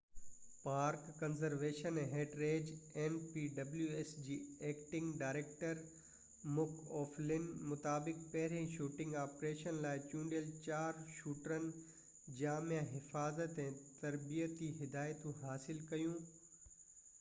npws park conservation ۽ heritage جي acting director Mick O'Flynn مطابق پهرين شوٽنگ آپريشن لاءِ چونڊيل چار شوٽرن جامع حفاظت ۽ تربيتي هدايتون حاصل ڪيون